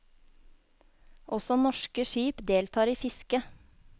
Også norske skip deltar i fisket.